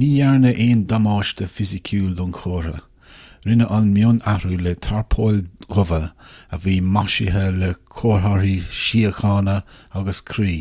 ní dhearnadh aon damáiste fisiciúil don chomhartha rinneadh an mionathrú le tarpóil dhubha a bhí maisithe le comharthaí síochána agus croí